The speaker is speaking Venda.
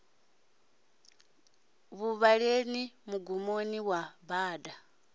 ḽa vhuelela mugumoni wa bada